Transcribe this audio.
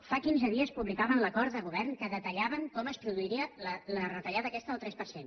fa quinze dies publicaven l’acord de govern en què detallaven com es produiria la retallada aquesta del tres per cent